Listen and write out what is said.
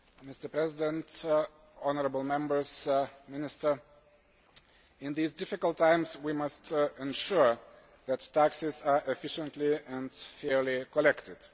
Mr President, honourable Members, Minister, in these difficult times we must ensure that taxes are efficiently and fairly collected.